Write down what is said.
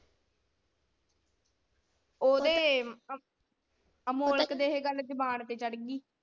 ਓਹਦੇ ਅਮੋਲਕ ਦੇ ਇਹ ਗੱਲ ਜਬਾਨ ਤੇ ਚੜ ਗਈ।